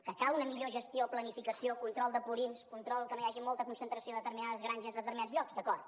que cal una millor gestió planificació control de purins control que no hi hagi molta concentració a determinades granges a determinats llocs d’acord